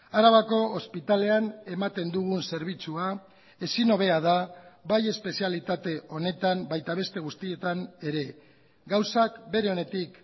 arabako ospitalean ematen dugun zerbitzua ezinhobea da bai espezialitate honetan baita beste guztietan ere gauzak bere onetik